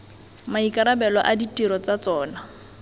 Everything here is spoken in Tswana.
maikarabelo a ditiro tsa tsona